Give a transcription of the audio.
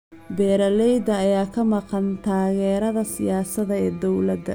Beeralayda ayaa ka maqan taageerada siyaasadda ee dawladda.